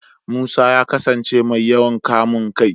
Musa ya kasance mai yawan kamun kai.